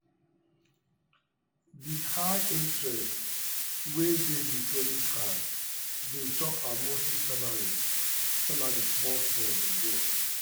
the high interest wey dey the credit card dey chop her monthly salary salary small small dey go.